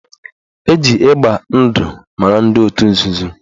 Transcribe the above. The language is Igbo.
Eji ịgba ndụ mara ndị otu nzuzo